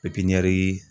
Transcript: pipiɲɛri